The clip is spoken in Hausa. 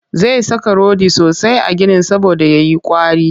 Zai saka rodi sosai a ginin saboda ya yi ƙwari